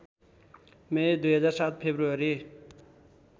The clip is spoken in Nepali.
मे २००७फेब्रुअरी